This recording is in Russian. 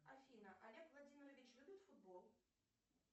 афина олег владимирович любит футбол